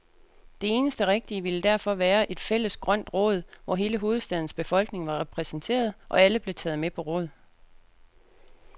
Det eneste rigtige ville derfor være et fælles grønt råd, hvor hele hovedstadens befolkning var repræsenteret, og alle blev taget med på råd.